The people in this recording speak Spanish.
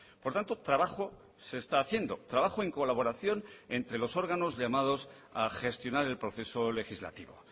por tanto trabajo se está haciendo trabajo en colaboración entre los órganos llamados a gestionar el proceso legislativo